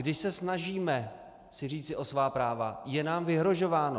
Když se snažíme si říci o svá práva, je nám vyhrožováno.